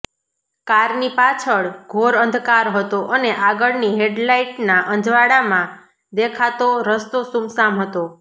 કારની પાછળ ઘોર અંધકાર હતો અને આગળની હેડલાઇટના અજવાળામાં દેખાતો રસ્તો સુમસામ હતો